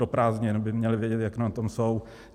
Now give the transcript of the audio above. Do prázdnin by měli vědět, jak na tom jsou.